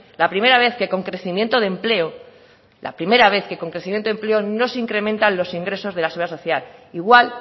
la primera vez que con crecimiento de empleo la primera vez que con crecimiento de empleo no se incrementan los ingresos de la seguridad social igual